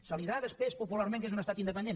es dirà després popularment que és un estat independent